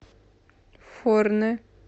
форне